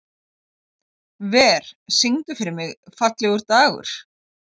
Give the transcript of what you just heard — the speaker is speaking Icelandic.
Ver, syngdu fyrir mig „Fallegur dagur“.